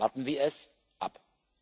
Warten wir es ab.